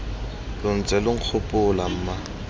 lo ntse lo nkgopola mma